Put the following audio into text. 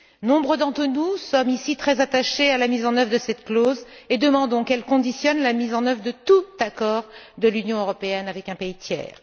Nombre d'entre nous sommes ici très attachés à la mise en œuvre de cette clause et demandons qu'elle conditionne la mise en œuvre de tout accord de l'Union européenne avec un pays tiers.